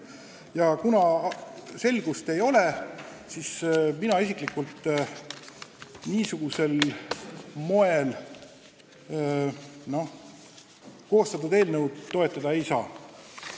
Ja kuna selgust ei ole, siis mina isiklikult niisugusel moel koostatud eelnõu toetada ei saa.